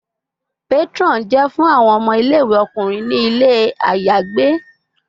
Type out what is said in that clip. Patron jẹ fun awọn ọmọ ile-iwe ọkunrin ni ile ayagbe